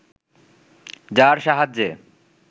যার সাহায্যে